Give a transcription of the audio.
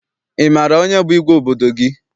Ị maara onye bụ igwe obodo gị?